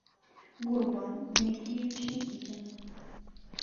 гурбан дмитриевич никитин